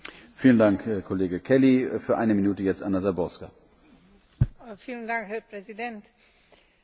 Je správne, že Európska únia dlhodobo presadzuje vo svete vysoký štandard dodržiavania ľudských práv.